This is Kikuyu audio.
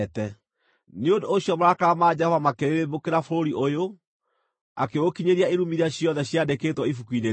Nĩ ũndũ ũcio marakara ma Jehova makĩrĩrĩmbũkĩra bũrũri ũyũ, akĩũkinyĩria irumi iria ciothe ciandĩkĩtwo ibuku-inĩ rĩĩrĩ.